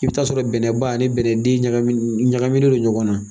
I bɛ t'a sɔrɔ bɛnɛba ani bɛnɛden ɲagami ɲagaminen don ɲɔgɔnna